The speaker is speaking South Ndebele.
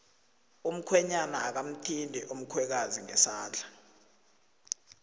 umkhwenyana akamthindi umkhwekazi ngesandla